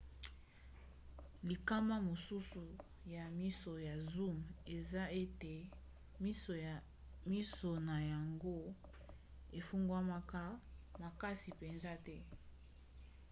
likama mosusu ya miso ya zoom eza ete miso na yango efungwamaka mbango makasi mpenza te